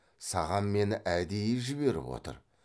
саған мені әдейі жіберіп отыр